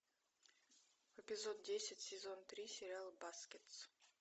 эпизод десять сезон три сериал баскетс